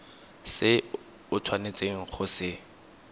se o tshwanetseng go se